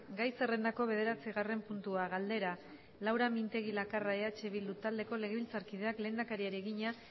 gai zerrendako bederatzigarren puntua galdera laura mintegi lakarra eh bildu taldeko legebiltzarkideak lehendakariari egina